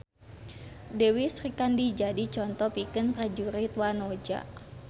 Dewi Srikandi jadi conto pikeun prajurit wanoja